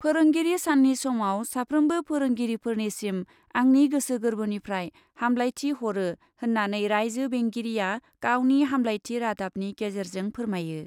फोरोंगरि साननि समाव साफ्रोमबो फोरोंगिरिफोरनिसिम आंनि गोसो गोर्बोनिफ्राय हामब्लायथि हरो होन्नानै राइज्यो बेंगिरिआ गावनि हामब्लायथि रादाबनि गेजेरजों फोरमायो ।